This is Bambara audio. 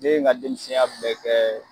Ne y nka denmisɛnya bɛɛ kɛ